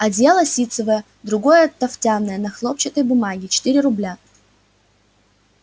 одеяло ситцевое другое тафтяное на хлопчатой бумаге четыре рубля